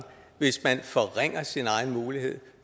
hvis man forringer sin egen mulighed